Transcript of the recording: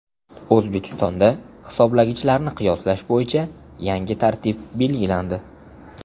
O‘zbekistonda hisoblagichlarni qiyoslash bo‘yicha yangi tartib belgilandi.